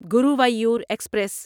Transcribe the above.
Guruvayur express